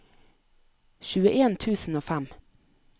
tjueen tusen og fem